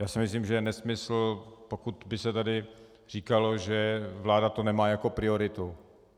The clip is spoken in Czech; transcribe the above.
Já si myslím, že je nesmysl, pokud by se tady říkalo, že vláda to nemá jako prioritu.